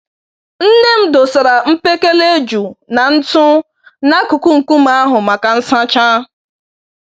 Nne m dosara mkpekele eju na ntụ n'akụkụ nkume ahụ maka nsacha.